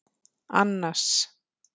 Annas